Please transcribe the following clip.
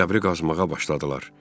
Qəbri qazmağa başladılar.